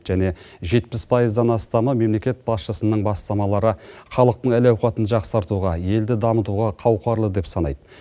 және жетпіс пайыздан астамы мемлекет басшысының бастамалары халықтың әл ауқатын жақсартуға елді дамытуға қауқарлы деп санайды